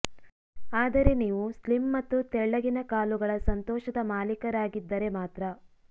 ಆದರೆ ನೀವು ಸ್ಲಿಮ್ ಮತ್ತು ತೆಳ್ಳಗಿನ ಕಾಲುಗಳ ಸಂತೋಷದ ಮಾಲೀಕರಾಗಿದ್ದರೆ ಮಾತ್ರ